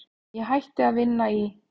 Ég hætti að vinna í